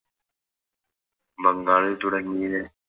ബംഗാളിൽ തുടങ്ങിയ